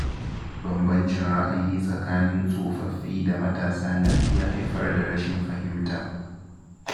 Banbancin ra'ayi tsakanin tsofaffi da matasa na iya haifar da rashin fahimta.